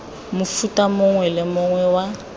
mofuta mongwe le mongwe wa